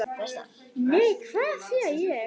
Nei, hvað sé ég?